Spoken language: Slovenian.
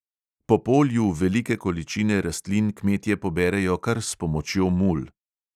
Po polju velike količine rastlin kmetje poberejo kar s pomočjo mul.